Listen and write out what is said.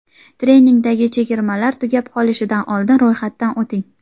Treningdagi chegirmalar tugab qolishidan oldin ro‘yxatdan o‘ting!